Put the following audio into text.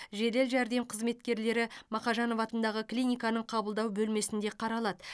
жедел жәрдем қызметкерлері мақажанов атындағы клиниканың қабылдау бөлмесінде қаралады